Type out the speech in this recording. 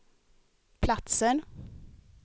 platser